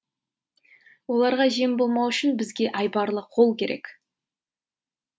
оларға жем болмау үшін бізге айбарлы қол керек